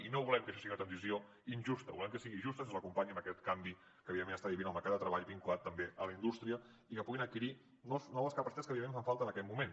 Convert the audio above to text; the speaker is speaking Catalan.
i no volem que això sigui una transició injusta volem que sigui justa que se’ls acompanyi en aquest canvi que està vivint el mercat de treball vinculat també a la indústria i que puguin adquirir noves capacitats que evidentment fan falta en aquest moment